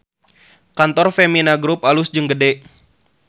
Kantor Femina Grup alus jeung gede